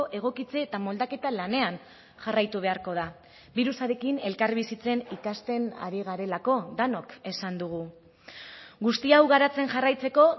egokitze eta moldaketa lanean jarraitu beharko da birusarekin elkarbizitzen ikasten ari garelako denok esan dugu guzti hau garatzen jarraitzeko